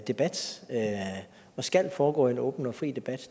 debat og skal foregå i en åben og fri debat